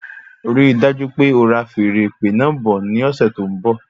Rí dájú pé ora feèrè ìpè náà bọ̀ ní ọsẹ tó n bọ